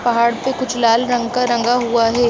पहाड़ पे कुछ लाल रंग का रंगा हुआ है|